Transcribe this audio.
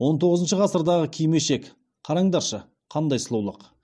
он тоғызыншы ғасырдағы кимешек қараңдаршы қандай сұлулық